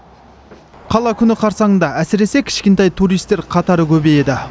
қала күні қарсаңында әсіресе кішкентай туристер қатары көбейеді